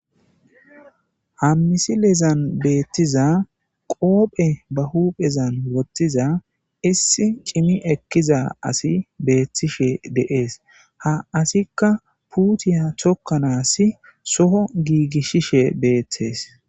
Ha misilezan beettiza qoophe ba huuphezan wottiza issi cimi ekkiza asi beethtishe deees ha asikka puutiya chokkanaas soho giigishishe beeththees.